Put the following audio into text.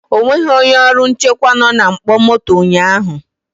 O nweghị onye ọrụ nchekwa nọ na mkpọ moto ụnyahụ